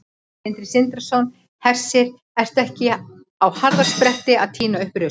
Sindri Sindrason: Hersir, ertu ekki á harðaspretti að tína upp rusl?